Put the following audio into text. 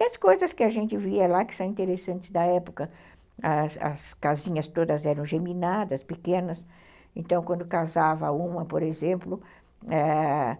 E as coisas que a gente via lá, que são interessantes da época, as as casinhas todas eram geminadas, pequenas, então quando casava uma, por exemplo, ãh...